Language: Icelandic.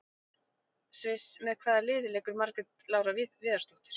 Sviss Með hvaða liði leikur Margrét Lára Viðarsdóttir?